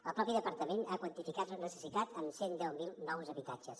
el mateix departament ha quantificat la necessitat en cent deu mil nous habitatges